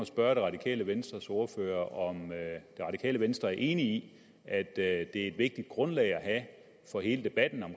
spørge det radikale venstres ordfører om det radikale venstre er enig i at det er et vigtigt grundlag at have for hele debatten om